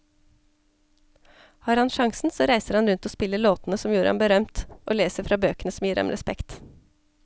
Har han sjansen så reiser han rundt og spiller låtene som gjorde ham berømt, og leser fra bøkene som gir ham respekt.